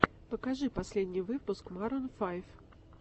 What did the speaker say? покажи последний выпуск марун файв